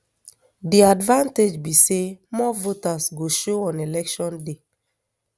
di advantage be say more voters go show on election day